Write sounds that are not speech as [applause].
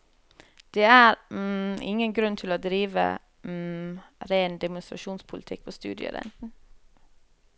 Det er [hesitation] ingen grunn til å drive [hesitation] ren demonstrasjonspolitikk på studierenten.